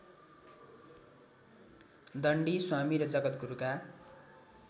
दण्डी स्वामी र जगद्गुरुका